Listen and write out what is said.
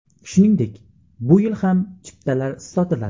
Shuningdek, bu yil ham chiptalar sotiladi.